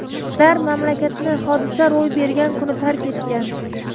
Ular mamlakatni hodisa ro‘y bergan kuni tark etgan.